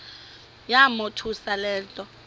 yamothusa le nto